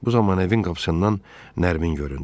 Bu zaman evin qapısından Nərmin göründü.